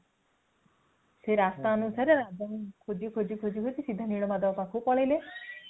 ସେ ରାସ୍ତା ଅନୁସାରେ ଖୋଜି ଖୋଜି ସିଧା ନୀଳମାଧବଙ୍କ ପାଖକୁ ପଳେଇଲେ